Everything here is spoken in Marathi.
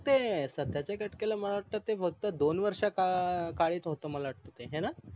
मग ते सध्या च्या घटकेला मला वाटे ते फक्त दोन वर्षा काळीत होत मला वाटे ते हाय न